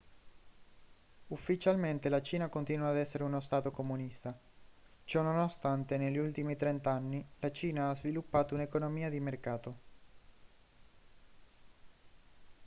ufficialmente la cina continua a essere uno stato comunista ciononostante negli ultimi trent'anni la cina ha sviluppato un'economia di mercato